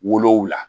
Wolonwula